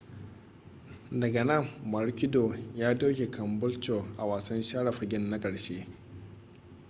daga nan maroochydore ya doke caboolture a wasan share fagen na ƙarshe